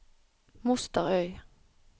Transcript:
Mosterøy